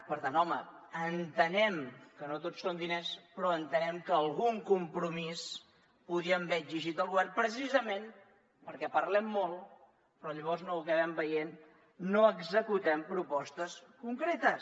per tant home entenem que no tot són diners però entenem que algun compromís podríem haver exigit al govern precisament perquè parlem molt però llavors no ho acabem veient no executem propostes concretes